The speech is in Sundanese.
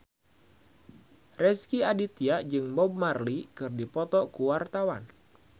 Rezky Aditya jeung Bob Marley keur dipoto ku wartawan